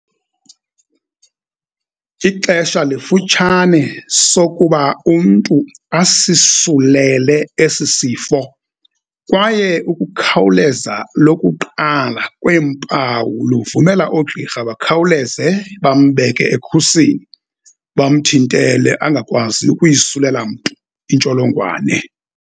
Ixesha lifutshane sokuba umntu asisulele esi sifo kwaye ukukhawuleza lokuqala kweempawu luvumela oogqirha bakhawuleze bambeke ekhusini, bamthintele angakwazi ukuyisulela mntu intsholongwane.